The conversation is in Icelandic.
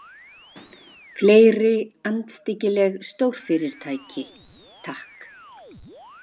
Fleiri andstyggileg stórfyrirtæki, takk!